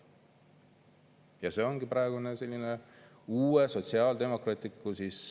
Ja see ongi praegune selline uue sotsiaaldemokraatliku …